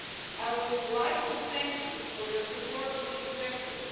I would like to thank you for your support for this objective.